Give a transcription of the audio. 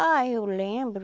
Ah, eu lembro.